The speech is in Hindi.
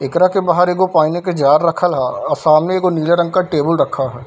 एकरा के बाहर एगो पानी के जार रखल ह अ सामने एगो नीला रंग का टेबुल रखा है |